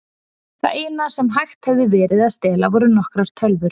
Það eina sem hægt hefði verið að stela voru nokkrar tölvur.